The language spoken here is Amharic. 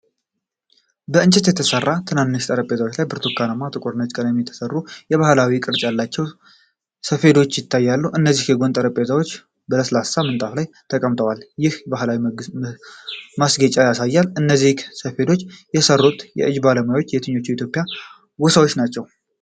ከእንጨት በተሠሩ ትናንሽ ጠረጴዛዎች ላይ በብርቱካናማ፣ ጥቁርና ነጭ ቀለም የተሠሩ የባህላዊ ቅርፅ ያላቸው ሰፌዶች ይታያሉ። እነዚህ የጎን ጠረጴዛዎች በለስላሳ ምንጣፍ ላይ ተቀምጠዋል፤ ይህም ባህላዊ ማስጌጫ ያሳያል። እነዚህን ሰፌዶች የሠሩት የእጅ ባለሙያዎች የትኞቹ የኢትዮጵያ ጎሳዎች ናቸው?